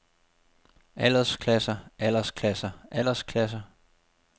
aldersklasser aldersklasser aldersklasser